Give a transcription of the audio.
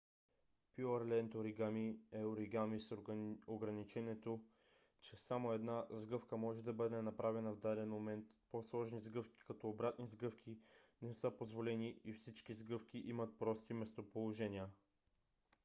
пюърленд оригами е оригами с ограничението че само една сгъвка може да бъде направена в даден момент по-сложни сгъвки като обратни сгъвки не са позволени и всички сгъвки имат прости местоположения